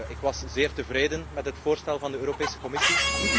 Ik was zeer tevreden met het voorstel van de Europese Commissie.